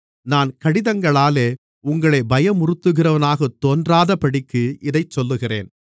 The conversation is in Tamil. நான் கடிதங்களாலே உங்களைப் பயமுறுத்துகிறவனாகத் தோன்றாதபடிக்கு இதைச் சொல்லுகிறேன்